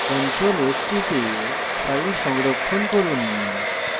ctrl + s টিপে file সংরক্ষণ করুন